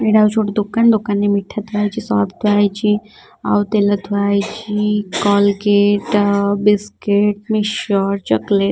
ଏଇଟା ହଉଚି ଗୋଟେ ଦୋକନ ଦୋକନ ରେ ମିଠା ଥୁଆ ହେଇଚି ସରଫ ଥୁଆ ହେଇଚି ଆଉ ତେଲ ଥୁଆ ହେଇଚି କଲଗେଟ୍ ଆ ବିସ୍କିଟ୍ ମିକ୍ସଚର ଚକଲେଟ୍ ।